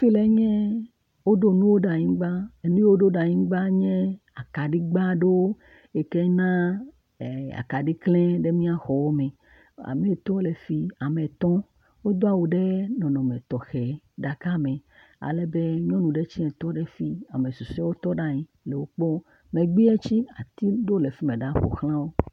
Ekplɔe nye woɖo nuwo ɖe anyigba. Enu yiwo woɖo ɖe anyigba enye akaɖigbe aɖewo eke na e akaɖi klena ɖe míaƒe exɔwo me. Ameetɔwo le fi mi, ameetɔwo wodo awu ɖe nɔnɔme tɔxɛ ɖeka me ale be nyɔnu ɖe tse tɔ ɖe fi yi ame susɔewo tɔ ɖe anyi le wo kpɔm. megbe tse ati ɖewo le fimeɖa ƒoxla wo.